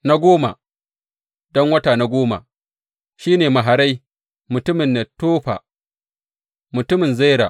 Na goma, don wata na goma, shi ne Maharai mutumin Netofa, mutumin Zera.